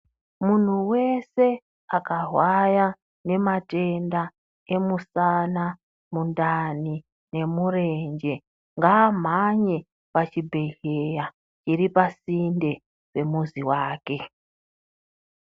Muntu vese akarwaya ngematenda emusana, mundani nemurenje ngamhanye pachibhedhera chiripasinde pemuzi vake.